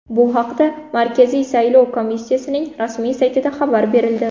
Bu haqda Markaziy saylov komissiyasining rasmiy saytida xabar berildi .